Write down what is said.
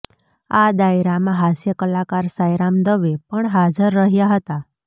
આ ડાયરામાં હાસ્યકલાકાર સાંઈરામ દવે પણ હાજર રહ્યા હતા